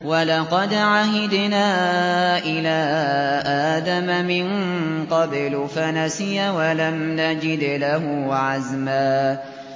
وَلَقَدْ عَهِدْنَا إِلَىٰ آدَمَ مِن قَبْلُ فَنَسِيَ وَلَمْ نَجِدْ لَهُ عَزْمًا